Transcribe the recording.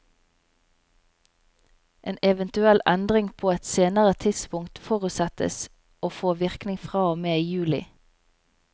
En eventuell endring på et senere tidspunkt forutsettes å få virkning fra og med juli.